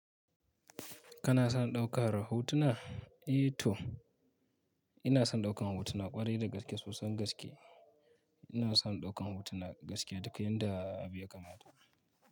Kana son ɗaukar hotuna? Eh to ina son ɗaukan hotuna ƙwarai da gaske soson gaske. Ina son ɗaukan hotuna gaskiya duk yanda abi ya kamata.